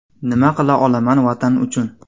Nima qila olaman Vatan uchun?